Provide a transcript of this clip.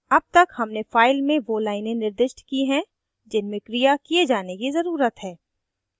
अब तक हमने file में so लाइनें निर्दिष्ट की हैं जिनमें क्रिया किये जाने की ज़रुरत है